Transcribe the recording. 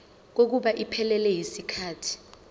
kokuba iphelele yisikhathi